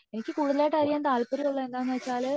എനിക്ക് കൂടുതലായിട്ട് അറിയാൻ താല്പര്യം ഉള്ളത് എന്താണ് വച്ചാല്